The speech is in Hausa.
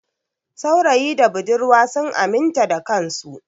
Saurayi da budurwa sun aminta da kansu.